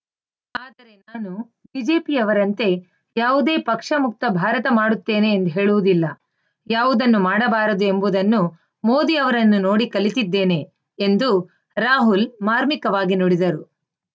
ಆದರೆ ನಾನು ಬಿಜೆಪಿಯವರಂತೆ ಯಾವುದೇ ಪಕ್ಷ ಮುಕ್ತ ಭಾರತ ಮಾಡುತ್ತೇನೆ ಎಂದು ಹೇಳುವುದಿಲ್ಲ ಯಾವುದನ್ನು ಮಾಡಬಾರದು ಎಂಬುದನ್ನು ಮೋದಿ ಅವರನ್ನು ನೋಡಿ ಕಲಿತಿದ್ದೇನೆ ಎಂದೂ ರಾಹುಲ್‌ ಮಾರ್ಮಿಕವಾಗಿ ನುಡಿದರು